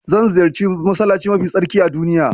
Zan ziyarci masallaci mafi tsarki a duniya.